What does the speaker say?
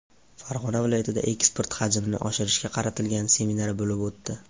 Farg‘ona viloyatida eksport xajmini oshirishga qaratilgan seminar bo‘lib o‘tdi.